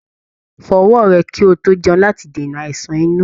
Fọ ọwọ rẹ ki o to jẹun láti dènà àìsàn inú.